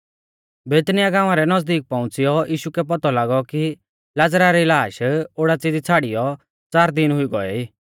बैतनिय्याह गाँवा रै नज़दीक पौउंच़िऔ यीशु कै पौतौ लागौ कि लाज़रा री लाश ओडाच़ी दी छ़ाड़ियौ च़ार दिन हुई गौऐ ई